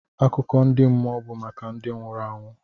Akụkọ ndị mmụọ bụ maka ndị nwụrụ anwụ.